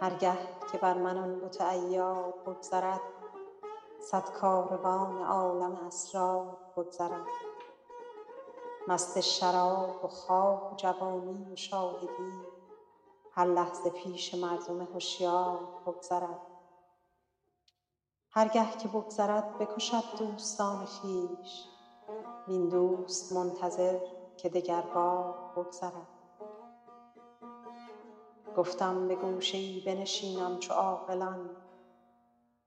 هر گه که بر من آن بت عیار بگذرد صد کاروان عالم اسرار بگذرد مست شراب و خواب و جوانی و شاهدی هر لحظه پیش مردم هشیار بگذرد هر گه که بگذرد بکشد دوستان خویش وین دوست منتظر که دگربار بگذرد گفتم به گوشه ای بنشینم چو عاقلان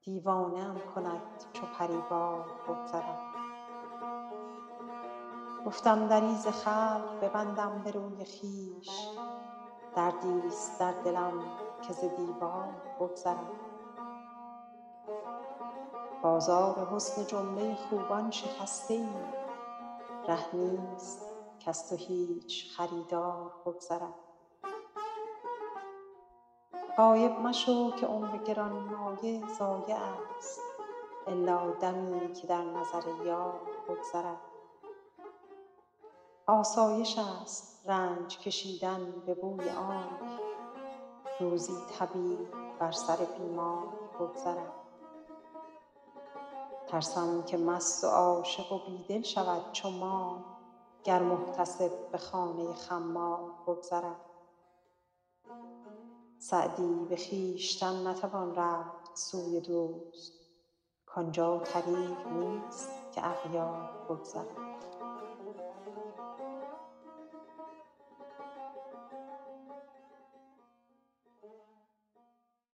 دیوانه ام کند چو پری وار بگذرد گفتم دری ز خلق ببندم به روی خویش دردیست در دلم که ز دیوار بگذرد بازار حسن جمله خوبان شکسته ای ره نیست کز تو هیچ خریدار بگذرد غایب مشو که عمر گرانمایه ضایعست الا دمی که در نظر یار بگذرد آسایشست رنج کشیدن به بوی آنک روزی طبیب بر سر بیمار بگذرد ترسم که مست و عاشق و بی دل شود چو ما گر محتسب به خانه خمار بگذرد سعدی به خویشتن نتوان رفت سوی دوست کان جا طریق نیست که اغیار بگذرد